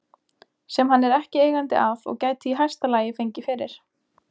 sem hann er ekki eigandi að og gæti í hæsta lagi fengið fyrir